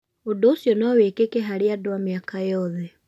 Ũndũ ũcio no wĩkĩke harĩ andũ a mĩaka yothe.